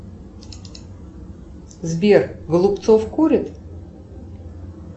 сбер голубцов курит